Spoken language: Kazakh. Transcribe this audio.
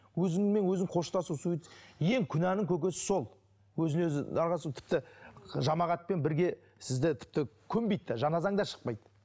өзіңмен өзің қоштасу суйцид ең күнәнің көкесі сол өзін өзі дарға асу тіпті жамағатпен бірге сізді тіпті көмбейді де жаназаң да шықпайды